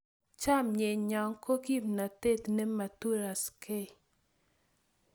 Chamyenyo ko kimnatet ne ma turaskei